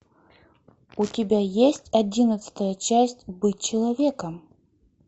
у тебя есть одиннадцатая часть быть человеком